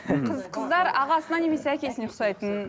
қыздар ағасына немесе әкесіне ұқсайтын